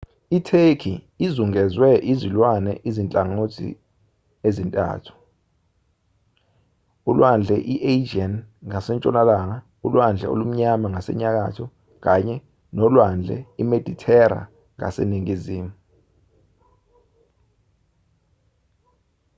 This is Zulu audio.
itheki izungezwe izilwandle ezinhlangothini ezintathu ulwandle i-aegean ngasentshonalanga ulwandle olumnyama ngasenyakatho kanye nolwandle imedithera ngaseningizimu